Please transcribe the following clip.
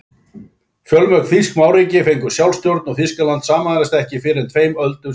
Fjölmörg þýsk smáríki fengu sjálfstjórn og Þýskaland sameinaðist ekki fyrr en tveimur öldum síðar.